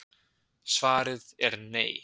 Svarið er Nei.